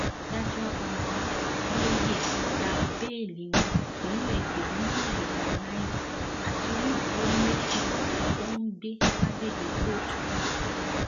adájọ aa abioye gba bẹẹlí wọn pẹlú ẹgbẹrún lọnà ìgbà náírà àti onídùúró méjì tó ń gbé lágbègbè kóòtù náà